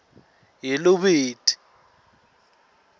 yerobert